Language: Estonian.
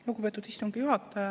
Lugupeetud istungi juhataja!